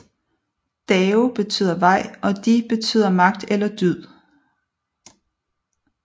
Dao betyder vej og De betyder magt eller dyd